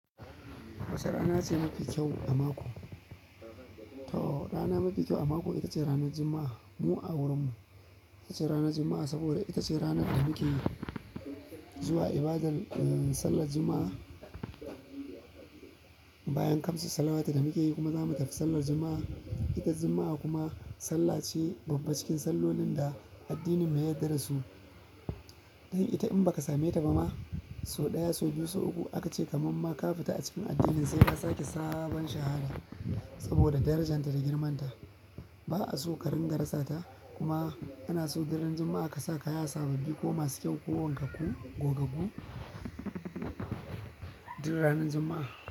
Wace rana ce mafi kyau a mako? To rana mafi kyau a mako ita ce ranar Juma'a. Mu a wurinmu ita ce ranar Juma'a saboda ita ce ranar da muke zuwa ibadar, eh, sallar Juma'a. Bayan kamsu saawatu da muke yi kuma zamu tafi sallar Juma'a. Ita Juma'a kuma sallah ce babba cikin sallolin da addinin mu ya yarda dasu. Dan ita in ba ka same ta ba ma sau ɗaya, sau biyu, sau uku aka ce kaman ma ka fita a cikin addinin sai ka sake sabon shahada saboda darajarta da girmanta. Ba a so ka dinga rasa ta kuma ana so daren Juma'a ka sa kaya sababbi ko masu kyau ko wankaku, gogaggu, duk ranar Juma'a.